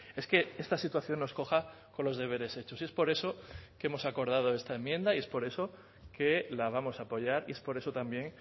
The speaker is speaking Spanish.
es que esta situación nos coja con los deberes hechos y es por eso que hemos acordado esta enmienda y es por eso que la vamos a apoyar y es por eso también